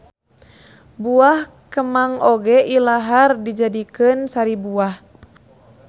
Buah kemang oge ilahar dijadikeun sari buah